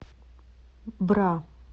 бра